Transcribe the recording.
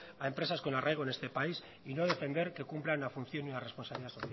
a empresas con arraigo en este país y no defender que cumplan una función y una responsabilidad social